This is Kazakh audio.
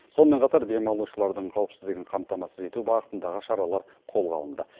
сонымен қатар демалушылардың қауіпсіздігін қамтамасыз ету бағытындағы шаралар қолға алынды